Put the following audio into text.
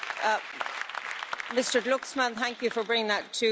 Mr Glucksmann, thank you for bringing that to our attention.